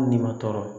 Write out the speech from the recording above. Hali ni ma tɔɔrɔ